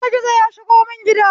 Gizo gizo ya shigo mun gida